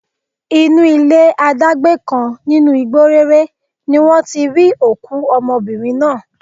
Inú ilé adágbé kan nínú igbó réré ni wọ́n ti rí òkú ọmọbìnrin náà